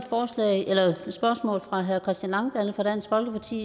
spørgsmål fra herre christian langballe fra dansk folkeparti